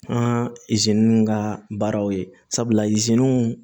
An ka baaraw ye sabula iziniw